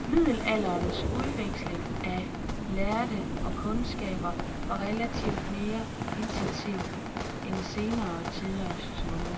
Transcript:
Middelalderens udveksling af lærde og kundskaber var relativt mere intensiv end senere tiders.